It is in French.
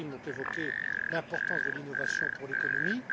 M. Karim ont évoqué l'importance de l'innovation pour l'économie.